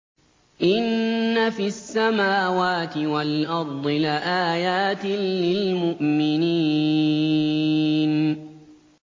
إِنَّ فِي السَّمَاوَاتِ وَالْأَرْضِ لَآيَاتٍ لِّلْمُؤْمِنِينَ